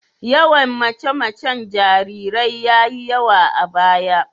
Yawan mace-macen jarirai ya yi yawa a baya.